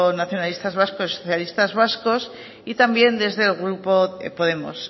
nacionalistas vascos y socialistas vascos y también desde el grupo podemos